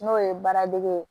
N'o ye baara dege ye